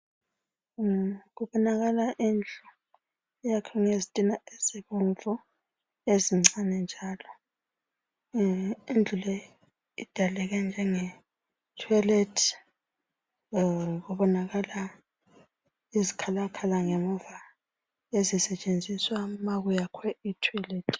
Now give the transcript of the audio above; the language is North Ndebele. Kubonakala indlu eyakhiwe ngezitina ezibomvu ezincane njalo indlu le idaleke njenge toilet. Kubonakala izikhalakhala ngemuva ezisetshenziswa ma kuyakhwe itoilet.